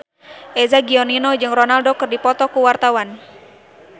Eza Gionino jeung Ronaldo keur dipoto ku wartawan